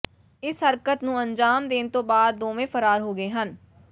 ਇਸ ਹਰਕਤ ਨੂੰ ਅੰਜਾਮ ਦੇਣ ਤੋਂ ਬਾਅਦ ਦੋਵੇਂ ਫ਼ਰਾਰ ਹੋ ਗਏ ਹਨ